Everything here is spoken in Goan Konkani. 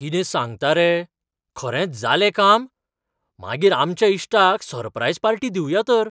कितें सांगता रे! खरेंच जालें काम? मागीर आमच्या इश्टाक सररप्रायज पार्टी दिवया तर.